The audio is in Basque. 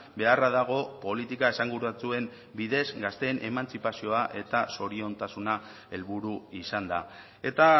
beharra dago politika esanguratsuen bidez gazteen emantzipazioa eta zoriontasuna helburu izanda eta